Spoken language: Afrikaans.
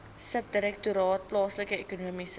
subdirektoraat plaaslike ekonomiese